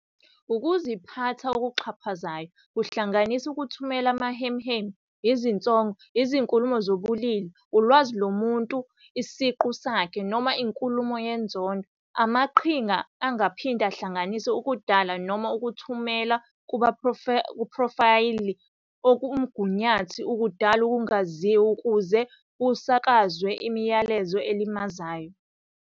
Ukuziphatha okuxhaphazayo kungahlanganisa ukuthumela amahemuhemu, izinsongo, izinkulumo zobulili, Ulwazi lomuntu siqu sakhe, noma Inkulumo yenzondo. Amaqhinga angaphinde ahlanganise ukudala noma ukuthumela kumaphrofayili omgunyathi ukudala ukungaziwa ukuze kusakazwe imiyalezo elimazayo.